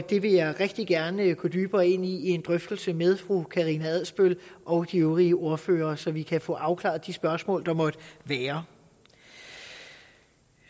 det vil jeg rigtig gerne gå dybere ind i i en drøftelse med fru karina adsbøl og de øvrige ordførere så vi kan få afklaret de spørgsmål der måtte være